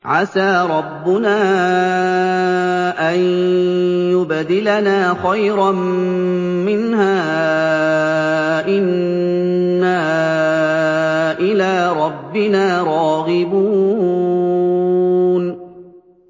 عَسَىٰ رَبُّنَا أَن يُبْدِلَنَا خَيْرًا مِّنْهَا إِنَّا إِلَىٰ رَبِّنَا رَاغِبُونَ